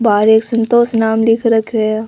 बहार एक संतोष नाम लिख रखयो है।